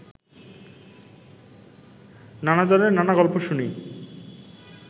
নানা জনের নানা গল্প শুনি